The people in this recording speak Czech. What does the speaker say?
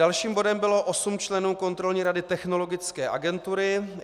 Dalším bodem bylo osm členů Kontrolní rady Technologické agentury.